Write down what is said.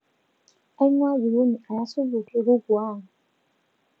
aingwaa jikoni aya supu ekuku ang